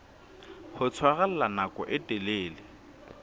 ho tshwarella nako e telele